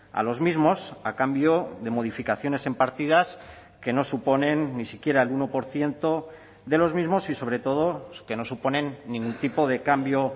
a los mismos a cambio de modificaciones en partidas que no suponen ni siquiera el uno por ciento de los mismos y sobre todo que no suponen ningún tipo de cambio